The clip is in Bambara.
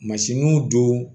Mansinw don